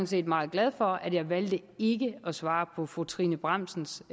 set meget glad for at jeg valgte ikke at svare på fru trine bramsens